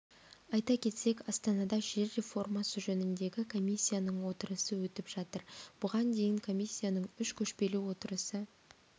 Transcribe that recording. айта кетсек астанада жер реформасы жөніндегі комиссияның отырысы өтіп жатыр бұған дейін комиссияның үш көшпелі отырысы